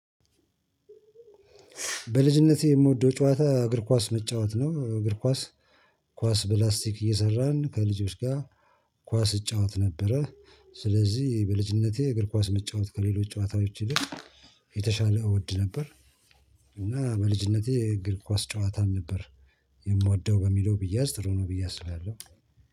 በልጅነቴ የምወደው ጨዋታ እግር ኳስ መጫወት ነው። እግር ኳስ ኳስ በላስቲክ እየሰራን ከልጆች ጋር ኳስ እጫወት ነበረ። ስለዚህ በልጅነቴ እግር ኳስ መጫወት ከሌሎች ጨዋታዎች ይልቅ የተሻለ እወድ ነበር። እና በልጅነቴ የእግር ኳስ ጨዋታን ነበር የምወደው በሚለው ቢያዝ ጥሩ ነው ብዬ አስብ ያለው።